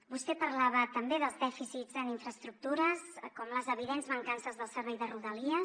vostè parlava també dels dèficits en infraestructures com les evidents mancances del servei de rodalies